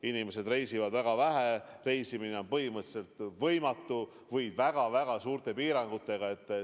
Inimesed reisivad väga vähe, reisimine on põhimõtteliselt võimatu või väga-väga suurte piirangutega.